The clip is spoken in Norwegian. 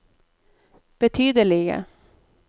betydelige